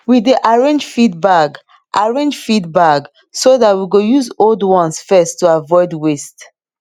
we dey arrange feed bag arrange feed bag so dat we go use old ones first to avoid waste